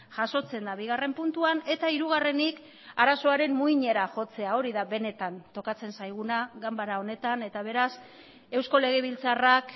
jasotzen da bigarren puntuan eta hirugarrenik arazoaren muinera jotzea hori da benetan tokatzen zaiguna ganbara honetan eta beraz eusko legebiltzarrak